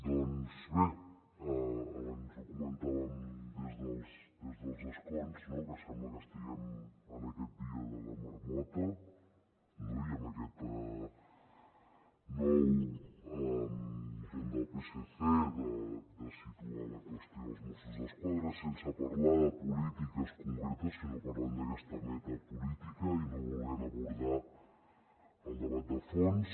doncs bé abans ho comentàvem des dels escons que sembla que estiguem en aquest dia de la marmota no i amb aquest nou intent del psc de situar la qüestió dels mossos d’esquadra sense parlar de polítiques concretes sinó parlant d’aquesta metapolítica i no volent abordar el debat de fons